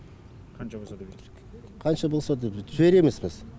қанша болса да беру керек қанша болса да жібереміз біз